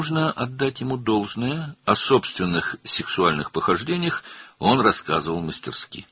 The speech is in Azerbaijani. Ona haqqını vermək lazımdır, öz cinsi macəralarından ustalıqla danışırdı.